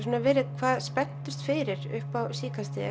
verið hvað spenntust fyrir upp á síðkastið